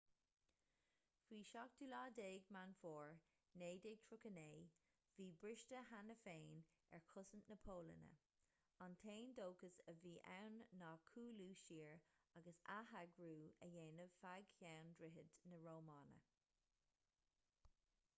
faoi 17 meán fómhair 1939 bhí briste cheana féin ar chosaint na polainne an t-aon dóchas a bhí ann ná cúlú siar agus atheagrú a dhéanamh feadh cheann droichid na rómáine